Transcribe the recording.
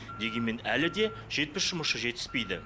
дегенмен әлі де жетпіс жұмысшы жетіспейді